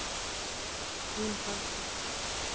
Þín Hafdís.